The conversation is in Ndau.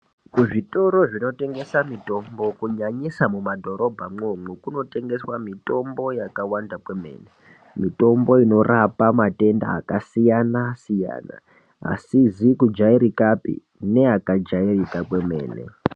Kuzvitoro zvinotengesa mitombo kunyanyisa mumadhorobha mwomwo kunotengeswe mitombo yakawanda kwemene mitombo inorapa matenda akasiyana siyana asizi kujairikapi neakajairika kwemene.